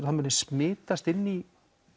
það muni smitast inn í